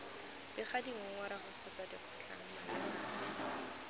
bega dingongorego kgotsa dikgotlhang malebana